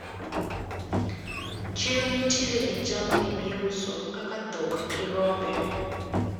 Chiro nitiere gi jamni miuso kaka dhok gi rombe.